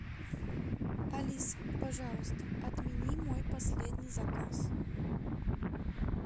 алиса пожалуйста отмени мой последний заказ